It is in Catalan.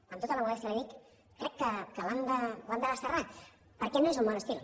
amb tota la modèstia li ho dic crec que l’han de desterrar perquè no és un bon estil